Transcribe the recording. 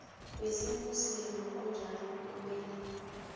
wesimuslimu onjalo kumele